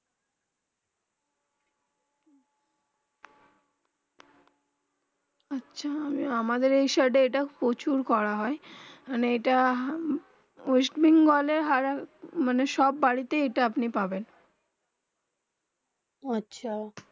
আমাদের এই সাইড প্রচুর করা হয়ে মানে এইটা মানে বাড়িতে এটা আপনি পাবেন ওহঃ আচ্ছা